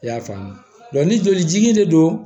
I y'a faamu ni joli de don